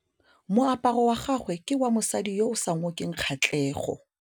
Moaparô wa gagwe ke wa mosadi yo o sa ngôkeng kgatlhegô.